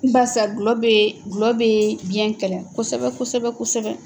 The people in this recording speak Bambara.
Barisa gulɔ bɛ gulɔ bɛ biyɛn kɛlɛ kosɛbɛ kosɛbɛ kosɛbɛ.